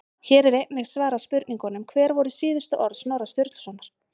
Hér er einnig svarað spurningunum: Hver voru síðustu orð Snorra Sturlusonar?